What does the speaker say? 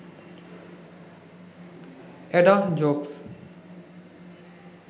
adult jokes